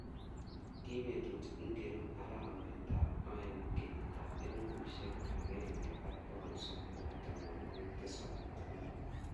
Ki betut ngiro eng arawetab aeng kenyitab elbushek agenge ak bogol sogol ak tamanwogik tisap ak aeng